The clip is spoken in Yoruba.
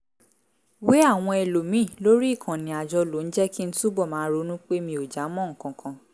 wé àwọn ẹlòmíì lórí ìkànnì àjọlò ń jẹ́ kí n túbọ̀ máa ronú pé mi ò já mọ́ nǹkan kan